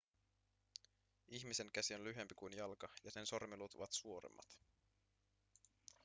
ihmisen käsi on lyhyempi kuin jalka ja sen sormiluut ovat suoremmat